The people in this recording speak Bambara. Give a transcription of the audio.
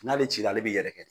N'ale cila ale bɛ yɛrɛkɛ